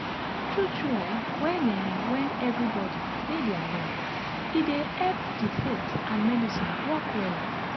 tru tru eh wen eh wen everybodi dey dia lane e dey epp di faith and medicine work wella